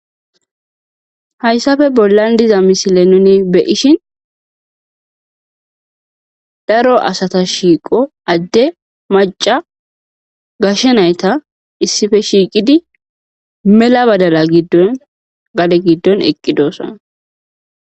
Hayssafe bollan diza misile nuni beyishin daro asata shiiqo adde maca gashe nayta issife shiiqidi mela badala giddon gade giddon eqqidoosa.